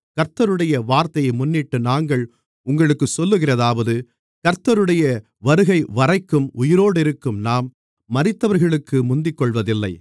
கர்த்தருடைய வார்த்தையை முன்னிட்டு நாங்கள் உங்களுக்குச் சொல்லுகிறதாவது கர்த்தருடைய வருகைவரைக்கும் உயிரோடிருக்கும் நாம் மரித்தவர்களுக்கு முந்திக்கொள்வதில்லை